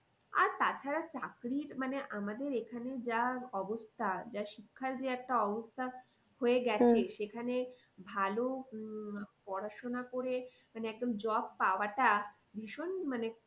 আর তা ছাড়া চাকরির মানে আমাদের এখানে যা অবস্থা যা শিক্ষার যে একটা অবস্থা হয়ে সেখানে ভালো উম পড়াশোনা করে মানে একদম job পাওয়াটা ভীষণ মানে